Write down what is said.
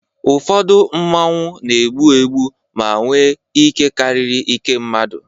ụfọdụ Mmanwu na-egbu egbu ma nwee ike karịrị nke mmadụ